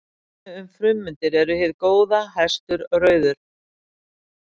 Dæmi um frummyndir eru hið góða, hestur, rauður.